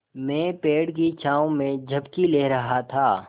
मैं पेड़ की छाँव में झपकी ले रहा था